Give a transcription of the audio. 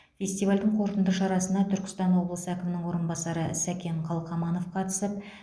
фестивальдің қорытынды шарасына түркістан облысы әкімінің орынбасары сәкен қалқаманов қатысып